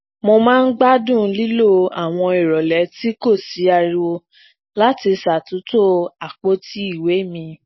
mo máa ń gbádùn lílo àwọn ìrọlẹ tí kò sí ariwo láti ṣatuntò apoti ìwé mi